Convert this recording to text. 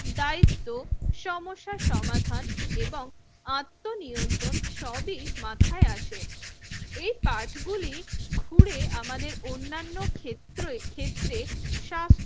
দায়িত্ব সমস্যার সমাধান এবং আত্মনিয়ন্ত্রণ সবই মাথায় আসে। এই পাঠ গুলি ঘুরে আমাদের অন্যান্য খেত্রে ক্ষেত্রে সা